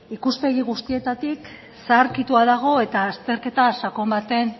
ikuspegi guztietatik zaharkitua dago eta azterketa sakon baten